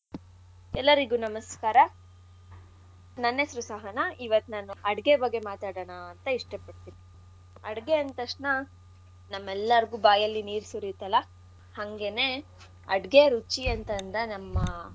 ಎಲ್ಲರಿಗೂ ನಮಸ್ಕಾರ. ನನ್ನ ಹೆಸ್ರು ಸಹನಾ ಇವತ್ ನಾನು ಅಡ್ಗೆ ಬಗ್ಗೆ ಮಾತಾಡಣ ಅಂತ ಇಷ್ಟ ಪಡ್ತಿನಿ. ಅಡ್ಗೆ ಅಂದ್ತಕ್ಷಣ ನಮ್ಮೆಲ್ಲರಗೂ ಬಾಯಲ್ಲಿ ನೀರು ಸುರಿಯತ್ತಲ್ಲ ಹಂಗೇನೇ ಅಡ್ಗೆ ರುಚಿಯಂತನ್ನ ನಮ್ಮ.